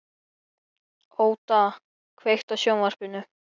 Óda, kveiktu á sjónvarpinu.